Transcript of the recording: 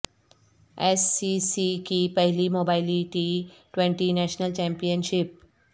S C C کی پہلی Mobily T twenty national champion شپ